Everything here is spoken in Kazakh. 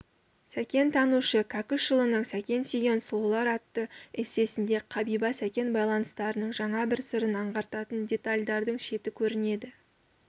сәкентанушы кәкішұлының сәкен сүйген сұлулар атты эссесінде қабиба сәкен байланыстарының жаңа бір сырын аңғартатын детальдардың шеті көрінеді